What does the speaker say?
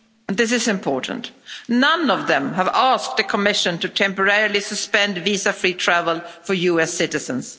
This is important. None of them has asked the Commission to temporarily suspend visa free travel for US citizens.